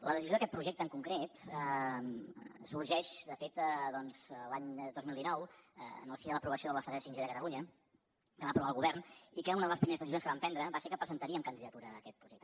la decisió d’aquest projecte en concret sorgeix de fet doncs l’any dos mil dinou en el si de l’aprovació de l’estratègia 5g de catalunya que va aprovar el govern i que una de les primeres decisions que vam prendre va ser que presentaríem candidatura a aquest projecte